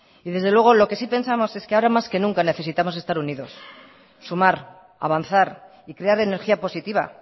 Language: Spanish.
y desde luego lo que sí pensamos es que ahora más que nunca necesitamos estar unidos sumar avanzar y crear energía positiva